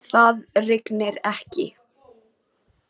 Það rignir ekki.